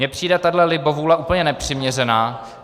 Mně přijde tahle libovůle úplně nepřiměřená.